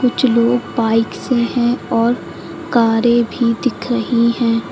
कुछ लोग बाइक से है और कारें भी दिख रही है।